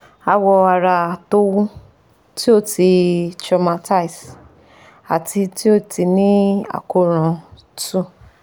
Àwọ̀ ara to wu ti o ti traumatize ati ti o ti ni akoran! two